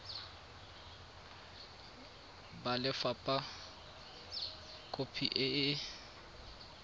ba lefapha khopi e e